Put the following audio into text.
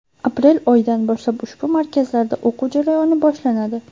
Aprel oyidan boshlab ushbu markazlarda o‘quv jarayoni boshlanadi.